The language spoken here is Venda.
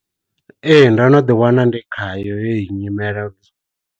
Ee ndo no ḓi wana ndi khayo heyi nyimele.